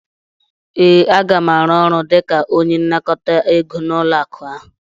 ee, Aga m arụ ọrụ dịka onye nnakọta ego n'ụlọ akụ ahụ